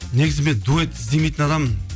негізі мен дуэт іздемейтін адаммын